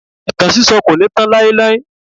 Ìtàn sísọ kò ní tán láíláí.